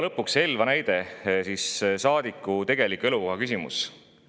Lõpuks Elva näide, saadiku tegeliku elukoha küsimus.